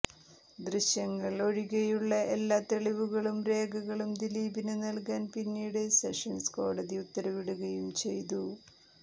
ദൃശ്യങ്ങൾ ഒഴികെയുളള എല്ലാ തെളിവുകളും രേഖകളും ദിലീപിന് നൽകാൻ പിന്നീട് സെഷൻസ് കോടതി ഉത്തരവിടുകയും ചെയ്തു